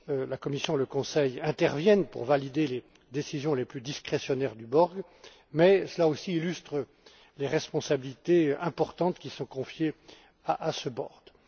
La Commission et le Conseil interviennent pour valider les décisions les plus discrétionnaires du board mais cela aussi illustre les responsabilités importantes qui sont confiées à ce dernier.